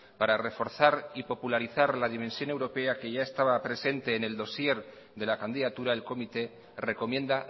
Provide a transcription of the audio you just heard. para reforzar y popularizar la dimensión europea que ya estaba presente en el dossier de la candidatura el comité recomienda